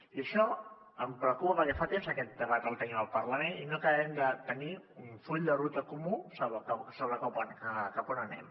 i això em preocupa perquè fa temps que aquest debat el tenim al parlament i no acabem de tenir un full de ruta comú sobre cap on anem